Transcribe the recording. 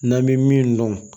N'an bɛ min dɔn